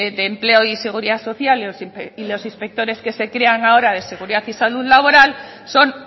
de empleo y seguridad social y los inspectores que se crean ahora de seguridad y salud laboral son